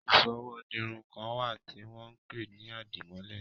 Ìsọwọ́ dirun kan wà tí wọ́n ń pè ní àdìmọ́lẹ̀